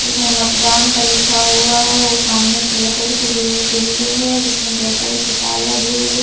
जिसमे मतदान का लिखा हुआ है वो सामने पिला कलर के बिल्डिंग है जिसमे ब्लैक कलर की तार लगी हुई हैं।